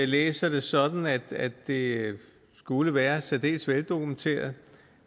læser det sådan at det skulle være særdeles veldokumenteret